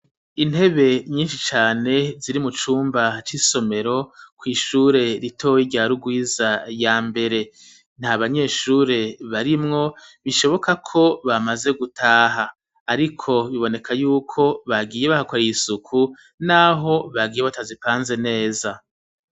Intebe nyinshi cane ziri mu cumba c'isomero kw'ishure ritoye ryari urwiza ya mbere nta banyeshure barimwo bishoboka ko bamaze gutaha, ariko biboneka yuko bagiye bahakoraiye isuku, naho bagiye watazipanze neza.